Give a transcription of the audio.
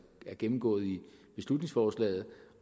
er gennemgået i beslutningsforslaget